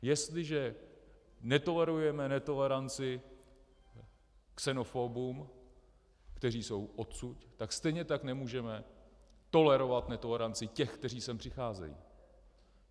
Jestliže netolerujeme netoleranci xenofobům, kteří jsou odsud, tak stejně tak nemůžeme tolerovat netoleranci těch, kteří sem přicházejí.